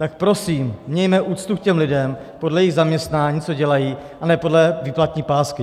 Tak prosím mějme úctu k těm lidem podle jejich zaměstnání, co dělají, a ne podle výplatní pásky!